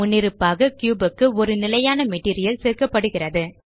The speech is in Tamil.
முன்னிருப்பாக கியூப் க்கு ஒரு நிலையான மெட்டீரியல் சேர்க்கப்படுகிறது